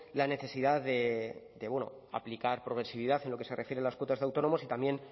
la necesidad de aplicar progresividad en lo que se refiere a las cuotas de autónomos y también